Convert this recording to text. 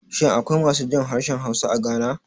Shin akwai masu jin harshen Hausa a Ghana?